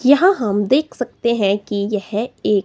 यहां हम देख सकते हैं की यह एक--